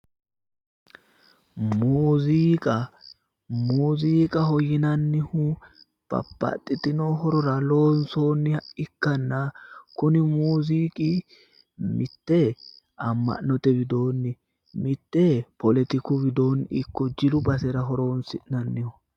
Muuziiqa muuziiqaho yinannihu babbaxxitino horora loonsoonniha ikkanna kuni muuziiqi mitte amma'note widoonni mitte poletiku widoonni ikko jilu basera horoonsi'nanniho